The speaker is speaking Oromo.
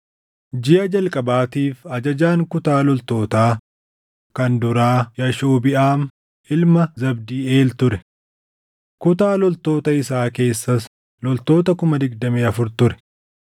Jiʼa jalqabaatiif ajajaan kutaa loltootaa kan duraa Yaashobiʼaam ilma Zabdiiʼeel ture. Kutaa loltoota isaa keessas loltoota 24,000 ture.